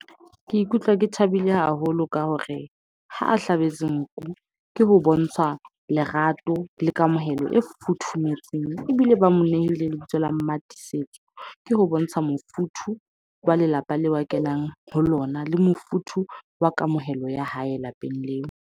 Ke ikutlwa ke thabile haholo ka hore ha a hlabetswe nku, ke ho bontsha lerato le kamohelo e futhumetseng. Ebile ba mo neile ebitso la Mmatiisetso. Ke ho bontsha mofuthu wa lelapa leo ba kenang ho lona, le mofuthu wa kamohelo ya hae lapeng leo.